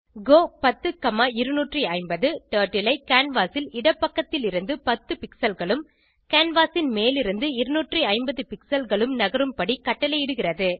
கோ 10250 டர்ட்டில் ஐ கேன்வாஸ் ன் இடப்பக்கத்திலிருந்து 10 pixelகளும் கேன்வாஸ் ன் மேலிருநது 250 pixelகளும் நகரும் படி கட்டளையிடுகிறது